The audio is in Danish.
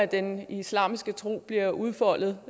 den islamiske tro bliver udfoldet